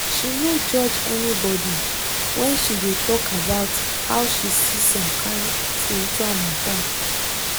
she no judge anybody when she de talk about how she see some kyn spiritual matter